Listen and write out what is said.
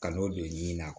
Ka n'o don nin na